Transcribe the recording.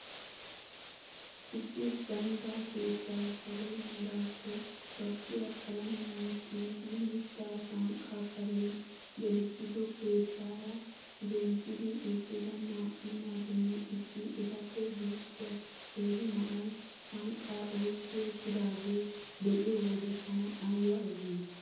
Issi gandda keettaa salo meraakko baqqiya qalamiyan tiyid mitta sanqqaa kariyan gelissido keettara zemppidi eqqida. naa'u naatinne issi etappe guuxxiya qeeri na'ay sanqqaa oyqqi eqqidaagee be'iyo wode tana aybba azzantti!